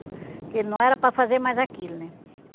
Porque ele não era para fazer mais aquilo, né?